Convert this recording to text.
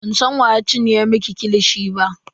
Bansan wa ya cinye miki kilishi ba.